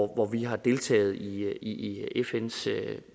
hvor vi har deltaget i i fns